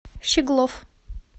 щеглов